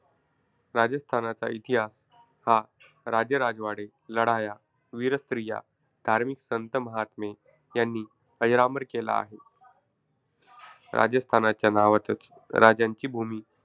राजस्थानाचा इतिहास हा राजेरजवाडे, लढाया, वीरस्त्रिया, धार्मिक संत महात्मे यांनी अजरामर केला आहे. राजस्थानच्या नावातच राजांची भूमी,